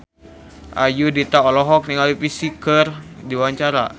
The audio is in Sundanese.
Ayudhita olohok ningali Psy keur diwawancara